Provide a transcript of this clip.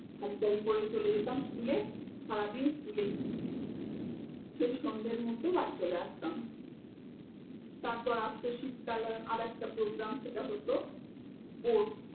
সারি তারি পরে চলে যেতাম school এ সারাদিন school এই সেই সন্ধের মধ্য় বাড়ি চলে আসতাম তারপর আর তো শীত্কালের আর একটা program সেটা হত sports